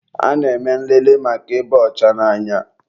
a na-eme nlele maka ịba ọcha n'anya